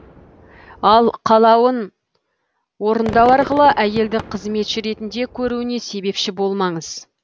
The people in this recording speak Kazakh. ал қалауын орындау арқылы әйелді қызметші ретінде көруіне себепші болмаңыз